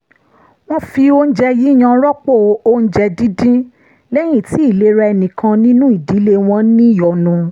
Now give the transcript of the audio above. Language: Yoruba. wọ́n fi oúnjẹ yíyan rọ́pò oúnjẹ díndín lẹ́yìn tí ìlera ẹnì kan nínú ìdílé wọn níyọnu